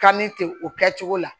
Kanni ten o kɛ cogo la